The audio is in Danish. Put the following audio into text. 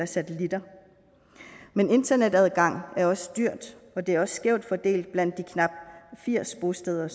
satellitter men internetadgang er også dyrt og det er skævt fordelt blandt de knap firs bosteder